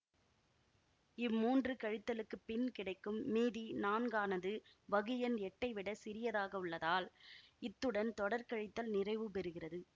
இம்மூன்று கழித்தலுக்குப் பின் கிடைக்கும் மீதி நான்கானது வகுஎண் எட்டைவிடச் சிறியதாக உள்ளதால் இத்துடன் தொடர்கழித்தல் நிறைவுபெறுகிறது